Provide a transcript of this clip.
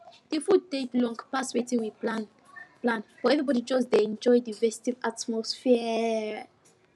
the food take long pass wetin we plan plan but everybody just dey enjoy the festive atmosphere